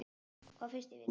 Hvað finnst þér, vinur?